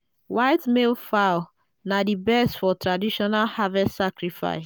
white male fowl na di best for traditional harvest sacrifice.